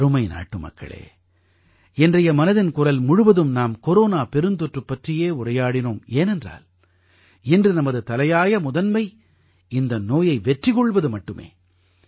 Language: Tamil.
எனதருமை நாட்டுமக்களே இன்றைய மனதின் குரல் முழுவதிலும் நாம் கொரோனா பெருந்தொற்று பற்றியே உரையாடினோம் ஏனென்றால் இன்று நமது தலையாய முதன்மை இந்த நோயை வெற்றி கொள்வது மட்டுமே